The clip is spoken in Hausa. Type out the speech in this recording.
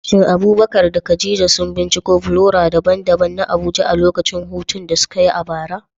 Shin Abubakar da Khadija sun binciko flora daban-daban na Abuja a lokacin hutun da suka yi a bara?